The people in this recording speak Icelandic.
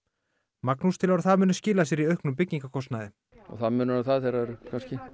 Magnús telur að það muni skila sér í auknum byggingarkostnaði það munar um það eru kannski